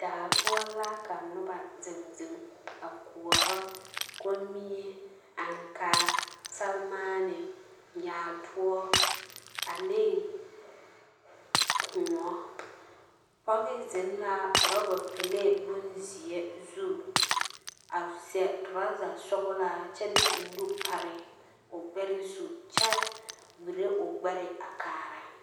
Daa poɔ la ka noba zeŋ zeŋ a koɔrɔ kommie aŋkaa salmaane nyaaduo ane kõɔ pɔge zeŋ la a ɔrɔba pɛlee boŋ zeɛ zu sɛ toraza sɔglaa a kyɛ de o nu pare o gbɛre zu kyɛ wire o gbɛre kaara.